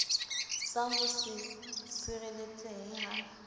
sa ho se sireletsehe ha